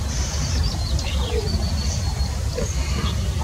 винил десятый сезон